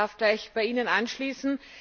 Ich darf gleich bei Ihnen anschließen.